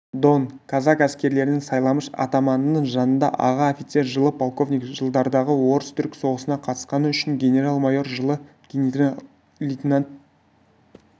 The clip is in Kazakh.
дон казак әскерлерінің сайламыш атаманының жанында аға офицер жылы полковник жылдардағы орыс-түрік соғысына қатысқаны үшін генерал-майор жылы генерал-лейтенант